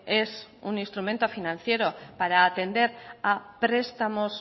es un instrumento financiero para atender a prestamos